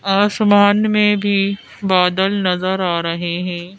आसमान में भी बादल नजर आ रहे हैं।